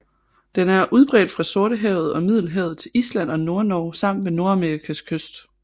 Den er udbredt fra Sortehavet og Middelhavet til Island og Nordnorge samt ved Nordamerikas østkyst